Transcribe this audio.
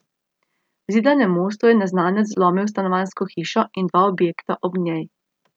V Zidanem Mostu je neznanec vlomil v stanovanjsko hišo in dva objekta ob njej.